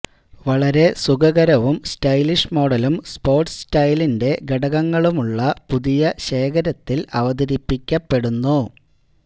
വളരെ സുഖകരവും സ്റ്റൈലിഷ് മോഡലും സ്പോർട് സ്റ്റൈലിന്റെ ഘടകങ്ങളുള്ള പുതിയ ശേഖരത്തിൽ അവതരിപ്പിക്കപ്പെടുന്നു